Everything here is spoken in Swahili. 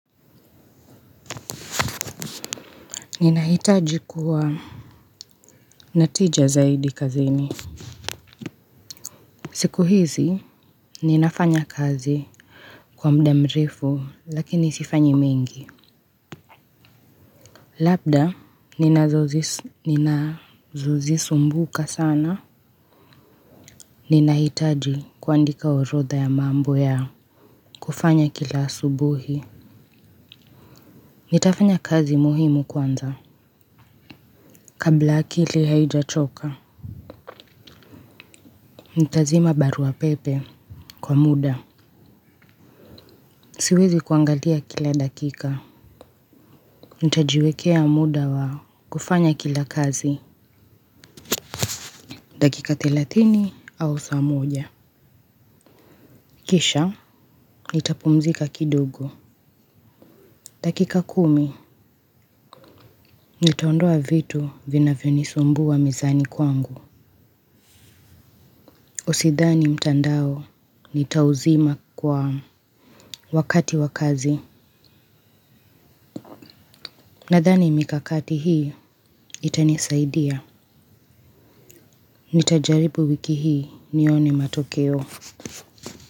Ninahitaji kuwa na tija zaidi kazini. Siku hizi ninafanya kazi. Kwa muda mrefu lakini sifanyi mingi. Labda ninazozisumbuka sana ninahitaji kuandika orotha ya mambo ya kufanya kila subuhi. Nitafanya kazi muhimu kwanza. Kabla akili haijachoka nitazima barua pepe kwa muda. Siwezi kuangalia kila dakika, nitajiwekea muda wa kufanya kila kazi, dakika thelathini au saa moja. Kisha, nitapumzika kidogo. Dakika kumi, nitaondoa vitu vinavyonisumbua mezani kwangu Usidhani mtandao, nitauzima kwa wakati wa kazi. Nadhani mikakati hii, itanisaidia. Nitajaribu wiki hii nione matokeo.